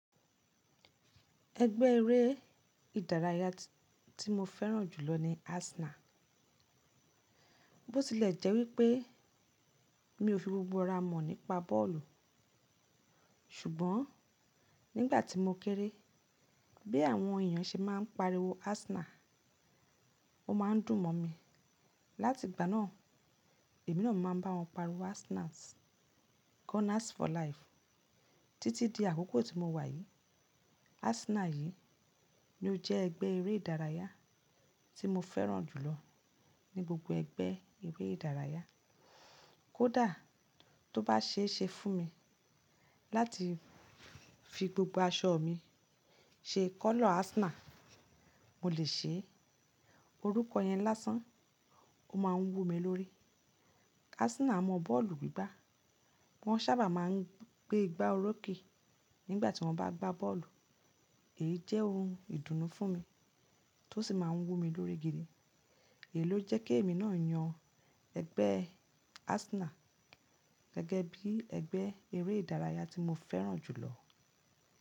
Ẹgbẹ́ eré ìdárayá tí mo fẹ́ràn jù lọ ni Arsenal. Bó tilẹ̀ jẹ́ wípé mi ò fi gbogbo ara mọ̀ nípa bọ́ọ̀lù, ṣùgbọ́n nígbà tí mo kéré, bí àwọn èèyàn ṣe máa ń pariwo Arsenal, ó máa ń dùn mọ̀ mi. Láti ìgbà náà, èmi náà máa ń bá wọn pariwo Arsenal. Gunners for life. Títí di àkókò tí mo wà yìí, Arsenal yìí ni ó jẹ́ ẹgbẹ́ eré ìdárayá tí mo fẹ́ràn jù lọ ní gbogbo ẹgbẹ́ eré ìdárayá. Kódà tó bá ṣe é ṣe fún mi láti fi gbogbo aṣọ mi ṣe kọ́lọ̀ Arsenal, mo lè ṣe é. Orúkọ yẹn lásán, ó máa ń wú mi lórí. Arsenal mọ bọ́ọ̀lù gbígbá. Wọ́n sábà máa ń gbé igbá orókè nígbà tí wọ́n bá gbá bọ́ọ̀lù. Èyí jẹ́ ohun ìdùnnú fún mi tó sì máa ń wú mi lórí gidi. Èyí ló jẹ́ kí èmi náà yan ẹgbẹ́ Arsenal gẹ́gẹ́ bí ẹgbẹ́ eré ìdárayá tí mo fẹ́ràn jù lọ.